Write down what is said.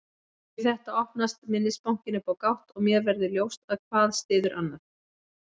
Við þetta opnast minnisbankinn upp á gátt og mér verður ljóst að hvað styður annað.